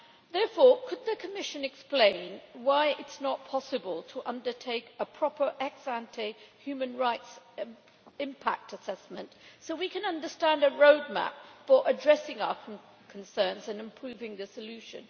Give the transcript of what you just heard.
Therefore, could the Commission explain why it is not possible to undertake a proper ex ante human rights impact assessment so we can understand a roadmap for addressing our concerns and improving the solution?